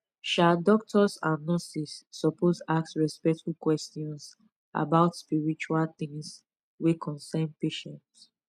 um doctors and nurses suppose ask respectful questions about spiritual things wey concern patient